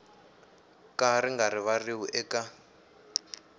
ka ri nga rivariwi eka